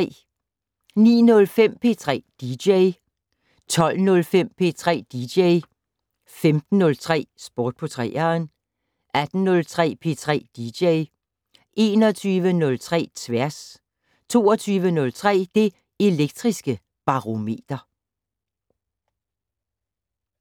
09:05: P3 dj 12:05: P3 dj 15:03: Sport på 3'eren 18:03: P3 dj 21:03: Tværs 22:03: Det Elektriske Barometer